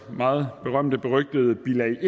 meget berømteberygtede bilag